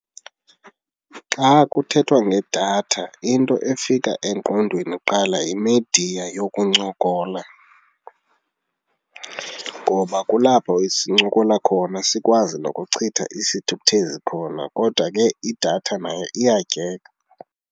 Xa kuthethwa ngedatha into efika engqondweni kuqala yimidiya yokuncokola ngoba kulapho sincokola khona sikwazi nokuchitha isithukuthezi khona kodwa ke idatha nayo iyatyeka.